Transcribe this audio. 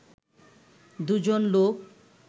দুজন লোক